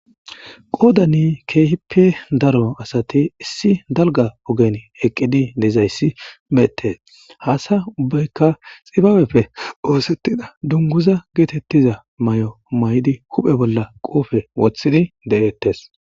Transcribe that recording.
qoodani keehippe daro asati issi dalga ogen eqqidi dezayssi beetes haasa ubbaykka xibabepfe oosettida dunguza geetettiza may7o may7di huphe bolla qoufe wothini de7ettes